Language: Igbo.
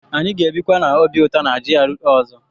Anyị ga-ebikwa n'obi ụtọ na GRA ọzọ.